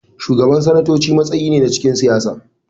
Shi Shugaban sanatoci matsayi ne a cikin siyasa.